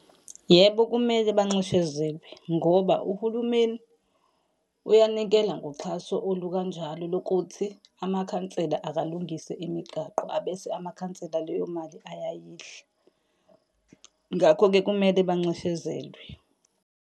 Yebo, kumele banxeshezelwe, ngoba uhulumeni uyanikela ngoxhaso olukanjalo lokuthi amakhansela akalungise imigaqo abese amakhansela leyo mali ayayidla. Ngakho-ke kumele banxeshezelwe.